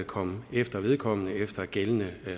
komme efter vedkommende efter gældende